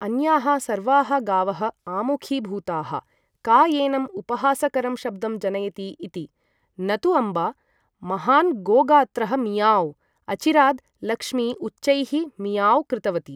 अन्याः सर्वाः गावः आमुखीभूताः। का एनं उपहासकरं शब्दं जनयति इति? न तु अम्बा। महान्, गोगात्रः मियाव्ँ! अचिराद्, लक्ष्मी उच्चैः 'मियाव्ँ' कृतवती।